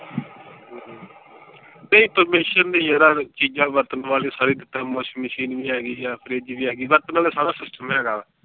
ਚੀਜ਼ਾਂ ਵਰਤਣ ਵਾਲੀਆਂ ਸਾਰੀਆਂ ਜਿਸਤਰਾਂ washing machine ਵੀ ਹੈਗੀ ਆ fridge ਵੀ ਹੈਗੀ ਆ ਵਰਤਣ ਵਾਲਾ ਸਾਰਾ system ਹੈਗਾ ਵਾ।